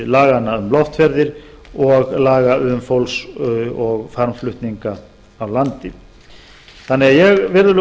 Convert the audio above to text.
laganna um loftferðir og laga um fólks og farmflutninga á landi ég legg